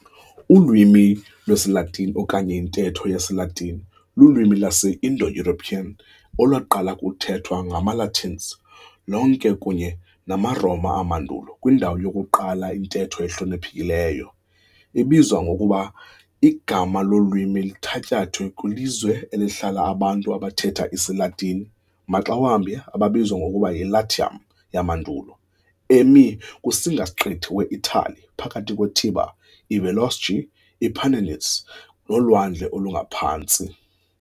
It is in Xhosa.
Ulwimi lwesiLatini, okanye intetho yesiLatini, lulwimi lwase-IndoEuropean olwaqala ukuthethwa ngamaLatins lonke kunye namaRoma amandulo kwindawo yokuqala intetho ehloniphekileyo, ibizwa ngokuba Igama lolwimi lithatyathwe kwilizwe elihlala abantu abathetha isiLatini, maxa wambi ababizwa ngokuba yiLatium yamandulo, emi kusingasiqithi weItali phakathi kweTiber, iVolsci, iApennines, noLwandle oluNgaphantsi.